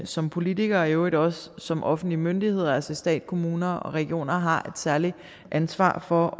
som politikere og i øvrigt også som offentlige myndigheder altså stat kommuner og regioner har et særligt ansvar for